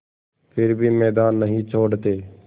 फिर भी मैदान नहीं छोड़ते